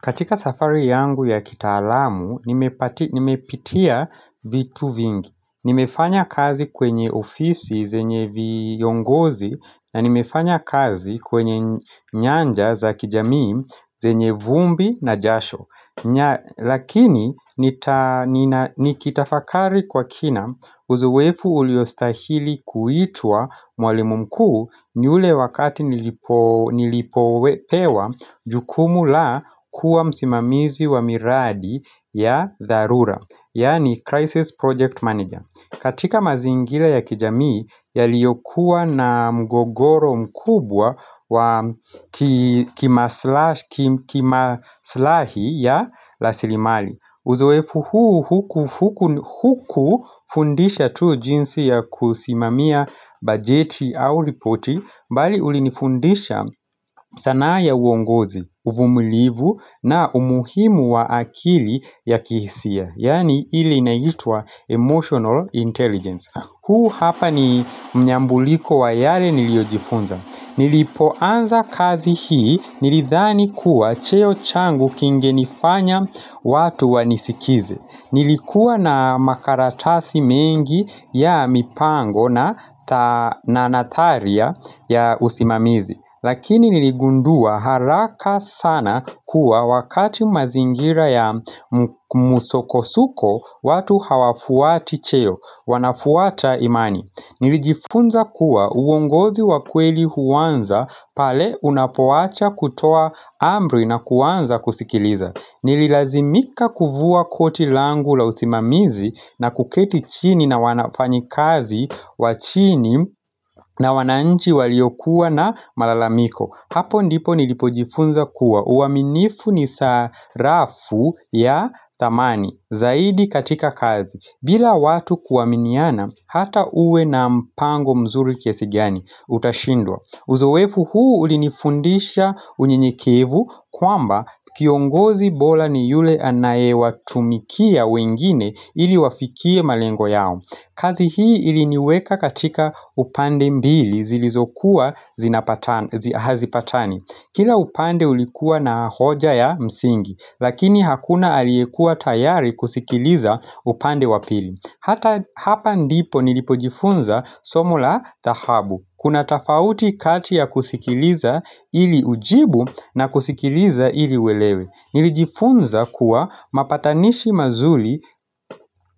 Katika safari yangu ya kitaalamu, nimepitia vitu vingi. Nimefanya kazi kwenye ofisi zenye viongozi na nimefanya kazi kwenye nyanja za kijamii zenye vumbi na jasho. Lakini nikitafakari kwa kina uzoefu uliostahili kuitwa mwalimu mkuu nyule wakati nilipoepewa jukumu la kuwa msimamizi wa miradi ya dharura, yani crisis project manager. Katika mazingila ya kijamii yaliyokuwa na mgogoro mkubwa wa kimaslahi ya rasilimali. Uzoefu huu hukufundisha tu jinsi ya kusimamia bajeti au lipoti mbali ulinifundisha sanaa ya uongozi, uvumulivu na umuhimu wa akili ya kihisia. Yaani ili inaitua emotional intelligence. Huu hapa ni mnyambuliko wa yale niliojifunza Nilipoanza kazi hii nilidhani kuwa cheo changu kingenifanya watu wanisikize Nilikuwa na makaratasi mengi ya mipango na nataria ya usimamizi Lakini niligundua haraka sana kuwa wakati mazingira ya musokosuko watu hawafuati cheo, wanafuata imani Nilijifunza kuwa uongozi wakweli huwanza pale unapowacha kutoa ambri na kuanza kusikiliza Nililazimika kuvua koti langu la usimamizi na kuketi chini na wanafanyi kazi wa chini na wananchi waliokuwa na malalamiko. Hapo ndipo nilipojifunza kuwa uaminifu ni sarafu ya dhamani zaidi katika kazi bila watu kuaminiana hata uwe na mpango mzuri kiasigiani utashindwa Uzoefu huu ulinifundisha unyinyekevu kwamba kiongozi bora ni yule anayewatumikia wengine ili wafikie malengo yao. Kazi hii iliniweka katika upande mbili zilizokuwa zinapatani. Kila upande ulikuwa na hoja ya msingi, lakini hakuna aliekua tayari kusikiliza upande wapili. Hata hapa ndipo nilipojifunza somo la dhahabu. Kuna tafauti kati ya kusikiliza ili ujibu na kusikiliza ili uelewe Nilijifunza kuwa mapatanishi mazuri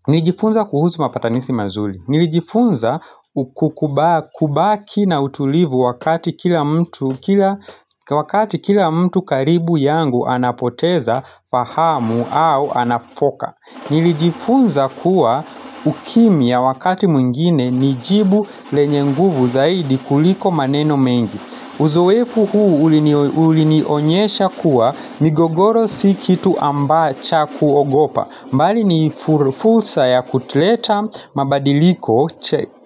Nilijifunza kuhusu mapatanishi mazuri Nilijifunza kubaki na utulivu wakati kila mtu karibu yangu anapoteza fahamu au anafoka. Nilijifunza kuwa ukimya wakati mwingine nijibu lenye nguvu zaidi kuliko maneno mengi. Uzoefu huu ulinionyesha kuwa migogoro si kitu cha kuogopa, mbali ni fursa ya kuleta mabadiliko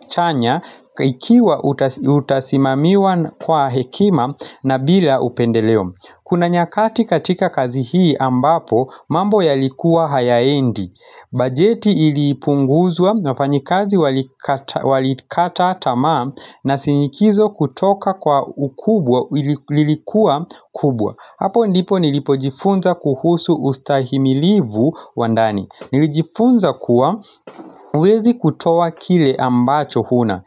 chanya ikiwa utasimamiwa kwa hekima na bila upendeleo. Kuna nyakati katika kazi hii ambapo mambo ya likuwa hayaendi Bajeti ilipunguzwa walifanyikazi walikata tama na sinikizo kutoka kwa ukubwa ilikuwa kubwa Hapo ndipo nilipojifunza kuhusu ustahimilivu wandani Nilijifunza kuwa huwezi kutoa kile ambacho huna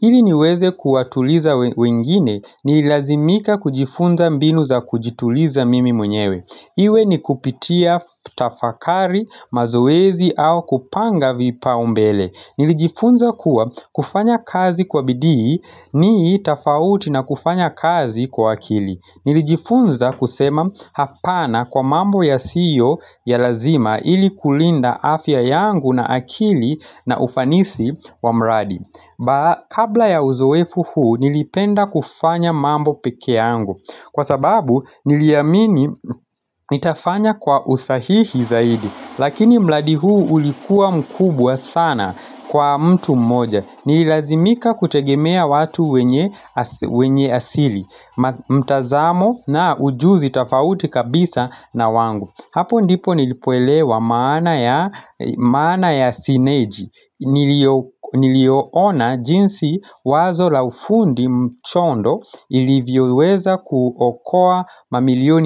ile niweze kuatuliza wengine ni ilazimika kujifunza mbinu za kujituliza mimi mwenyewe Iwe ni kupitia tafakari mazoezi au kupanga vipaumbele Nilijifunza kuwa kufanya kazi kwa bidii nii tofauti na kufanya kazi kwa akili Nilijifunza kusema hapana kwa mambo yasio ya lazima ilikulinda afya yangu na akili na ufanisi wa mradi Kabla ya uzoefu huu nilipenda kufanya mambo peke yangu Kwa sababu niliamini nitafanya kwa usahihi zaidi Lakini mradi huu ulikua mkubwa sana kwa mtu mmoja Nililazimika kutegemea watu wenye asili mtazamo na ujuzi tofauti kabisa na wangu Hapo ndipo nilipoelewa maana ya sineji Nilioona jinsi wazo la ufundi mchondo ilivyoweza kuokoa mamilioni.